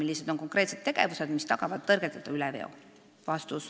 Millised on konkreetsed tegevused, mis tagavad tõrgeteta üleveo?